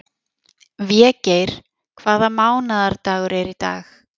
Végeir, hvaða mánaðardagur er í dag?